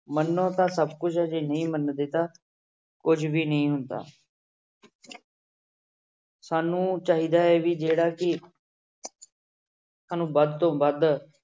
ਮੰਨੋ ਤਾਂ ਸਭ ਕੁਛ ਆ ਜੇ ਨਹੀਂ ਮੰਨਦੇ ਤਾਂਂ ਕੁੱਝ ਵੀ ਨਹੀਂ ਹੁੰਦਾ ਸਾਨੂੰ ਚਾਹੀਦਾ ਹੈ ਵੀ ਜਿਹੜਾ ਕਿ ਸਾਨੂੰ ਵੱਧ ਤੋਂ ਵੱਧ